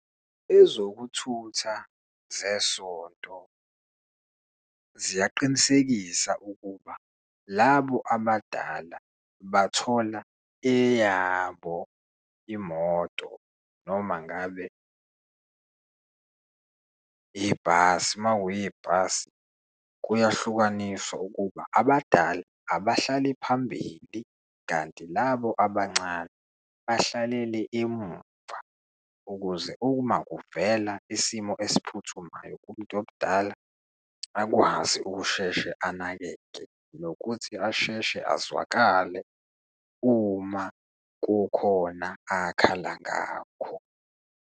Ezokuthutha zesonto ziyaqinisekisa ukuba labo abadala bathola eyabo imoto noma ngabe yibhasi. Uma kuyibhasi, kuyahlukaniswa ukuba abadala abahlale phambili kanti labo abancane bahlalele emuva, ukuze uma kuvela isimo esiphuthumayo kumuntu omdala akwazi ukusheshe anakeke, nokuthi asheshe azwakale uma kukhona akhala ngakho.